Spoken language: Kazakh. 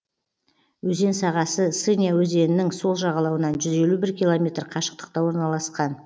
өзен сағасы сыня өзенінің сол жағалауынан жүз елу бір километр қашықтықта орналасқан